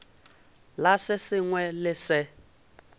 la se sengwe le se